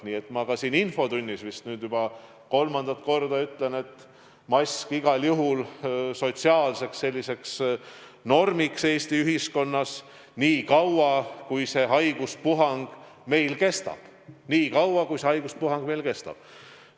Nii et ma ütlen ka siin infotunnis, vist nüüd juba kolmandat korda, et mask on igal juhul sotsiaalseks normiks Eesti ühiskonnas nii kaua, kui meil see haiguspuhang kestab.